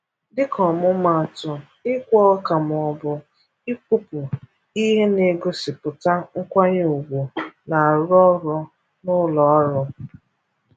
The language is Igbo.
Dịka ọmụmaatụ, ịkwa ọka maọbụ ịkpụpụ ihe na-egosipụta nkwanye ugwu na-arụ ọrụ n'ụlọọrụ.